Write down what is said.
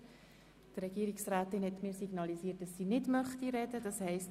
Die Regierungsrätin hat mir signalisiert, dass sie sich nicht äussern möchte.